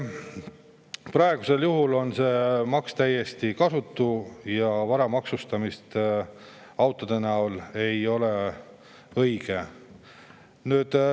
Praegusel juhul on see maks täiesti kasutu ja vara maksustamine autode näol ei ole õige.